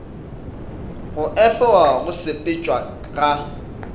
go efoga go sepetšwa ga